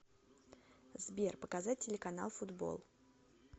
сбер показать телеканал футбол